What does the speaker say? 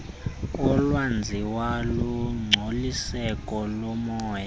olwenziwa lungcoliseko lomoya